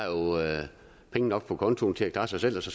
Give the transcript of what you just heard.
penge nok på kontoen til at klare sig selv så